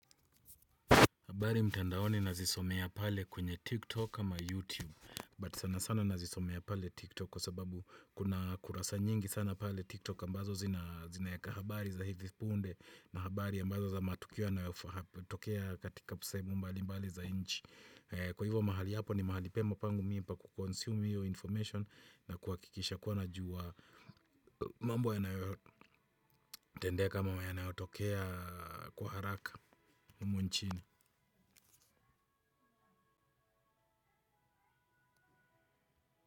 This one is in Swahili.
Habari mtandaoni nazisomea pale kwenye tiktok ama youtube but sana sana nazisomea pale tiktok kwa sababu kuna kurasa nyingi sana pale tiktok ambazo zinaeka habari za hivi punde na habari ambazo za matukio yanayotokea katika sehemu mbali mbali za nchi. Kwa hivyo mahali hapo ni mahali pema pangu mimi pa ku consume hiyo information na kuakikisha kuwa najua mambo yanayotendeka ama yanayotokea kwa haraka humu nchini.